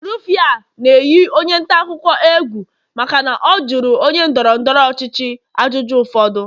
Rufai a na-eyi onye ntaakụkọ egwu egwu maka na ọ jụrụ onye ndọrọ ndọrọ ọchịchị ajụjụ ụfọdụ